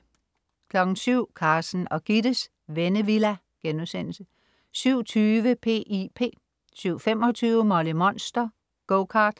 07.00 Carsten og Gittes Vennevilla* 07.20 P.I.P 07.25 Molly Monster. Go-kart